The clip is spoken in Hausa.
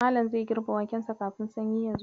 Malam zai girbe wakensa kafin sanyi ya zo.